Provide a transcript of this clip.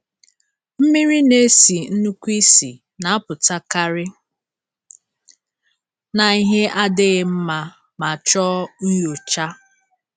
Mmiri na-esi nnukwu ísì na-apụtakarị na ihe adịghị mma ma chọọ nyocha.